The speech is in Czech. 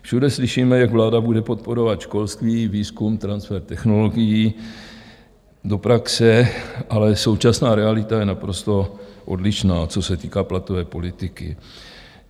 Všude slyšíme, jak vláda bude podporovat školství, výzkum, transfer technologií do praxe, ale současná realita je naprosto odlišná, co se týká platové politiky.